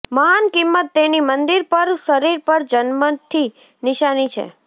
મહાન કિંમત તેની મંદિર પર શરીર પર જન્મથી નિશાની છે